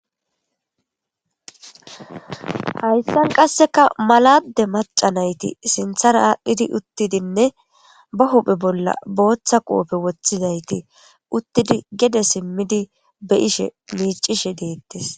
hayssan qasseka maladde maca nayti sinthara aadhdhidi uttidinne ba huphe bolla booththa qoope woththizayti uttidi gede simmidi be ishe miicishe deettes.